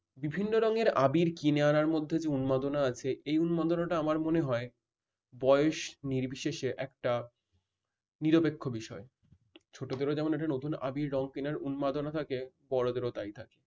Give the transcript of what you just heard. বিভিন্ন রঙের আবির কিনে আনার মধ্যে যে উন্মাদনা আছে এই উন্মাদনা টা আমার মনে হয় বয়স নির্বিশেষে একটা নিরপেক্ষ বিষয়। ছোটদেরও যেমন এটা নতুন আবির রং কেনার উন্মাদনা থাকে বড়দেরও তাই থাকে।